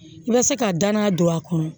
I bɛ se ka danaya don a kɔnɔ